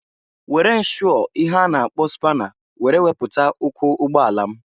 Were nshụọ ihe a na-akpọ spana were wepụta ụkwụ ụgbọ ala m.